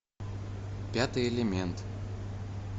пятый элемент